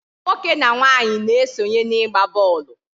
Nwoke na nwaanyị na-esonye n'ịgba bọọlụ